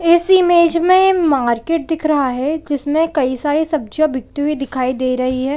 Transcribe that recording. इस इमेज में मार्केट दिख रहा है जिसमें कई सारी सब्जियाँ बिकती हुई दिखाई दे रही हैं ।